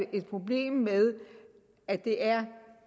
problem med at det er